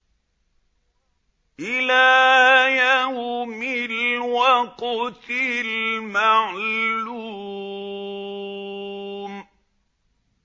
إِلَىٰ يَوْمِ الْوَقْتِ الْمَعْلُومِ